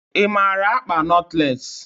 I mara ikpa notles?